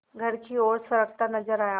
घर की ओर सरकता नजर आया